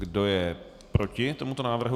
Kdo je proti tomuto návrhu?